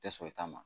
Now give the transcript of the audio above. Tɛ sɔn i ta ma